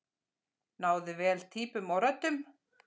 Náði vel týpum og röddum.